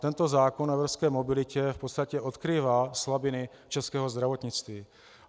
Tento zákon o evropské mobilitě v podstatě odkrývá slabiny českého zdravotnictví.